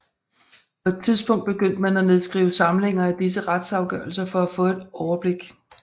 På et tidspunkt begyndte man at nedskrive samlinger af disse retsafgørelser for at få et overblik